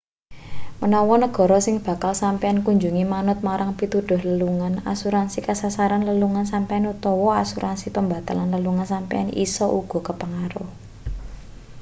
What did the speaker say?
menawa negara sing bakal sampeyan kunjungi manut marang pituduh lelungan asuransi kasarasan lelungan sampeyan utawa asuransi pembatalan lelungan sampeyan isa uga kepengaruh